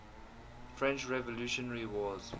french revolutionary wars